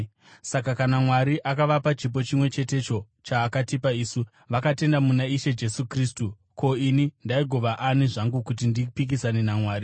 Saka kana Mwari akavapa chipo chimwe chetecho chaakatipa isu, vakatenda muna Ishe Jesu Kristu, ko, ini ndaigova ani zvangu kuti ndipikisane naMwari?”